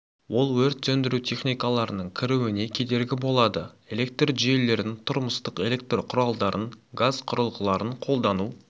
ол өрт сөндіру техникаларының кіруіне кедергі болады электр жүйелерін тұрмыстық электр құралдарын газ құрылғыларын қолдану